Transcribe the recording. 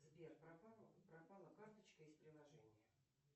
сбер пропала карточка из приложения